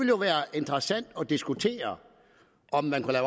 jo være interessant at diskutere om man kunne